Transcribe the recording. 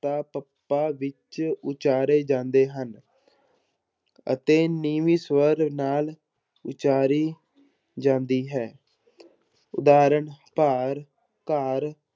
~ਤਾ, ਪੱਪਾ ਵਿੱਚ ਉਚਾਰੇ ਜਾਂਦੇ ਹਨ ਅਤੇ ਨੀਵੀਂ ਸਵਰ ਨਾਲ ਉਚਾਰੀ ਜਾਂਦੀ ਹੈ ਉਦਾਹਰਣ ਭਾਰ, ਘਰ